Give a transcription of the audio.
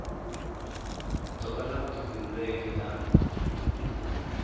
ḓo vha na vhuḓifhinduleli ha